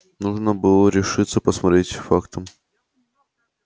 нужно было наконец решиться посмотреть фактам в лицо